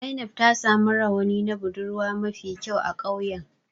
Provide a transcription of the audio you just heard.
Zainab ta samu rawani na budurwa mafi kyau a ƙauyen.